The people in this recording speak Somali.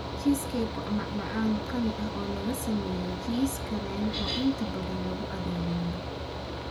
Cheesecake waa macmacaan qani ah oo lagu sameeyay jiis kareem, oo inta badan lagu adeego miro.